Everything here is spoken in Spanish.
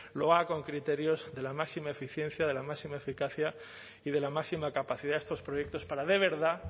lo haga con criterios de la máxima eficiencia de la máxima eficacia y de la máxima capacidad estos proyectos para de verdad